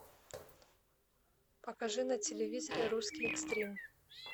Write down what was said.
покажи на телевизоре русский экстрим